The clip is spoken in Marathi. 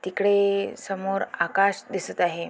तिकडे समोर आकाश दिसत आहे.